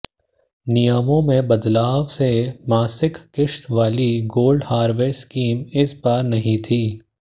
नियमों में बदलाव से मासिक किश्त वाली गोल्ड हार्वेस्ट स्कीम इस बार नहीं थी